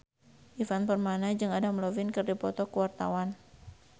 Ivan Permana jeung Adam Levine keur dipoto ku wartawan